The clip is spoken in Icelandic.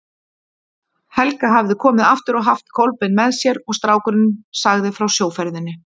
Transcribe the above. Helga hafði komið aftur og haft Kolbein með sér og strákurinn sagði frá sjóferðinni.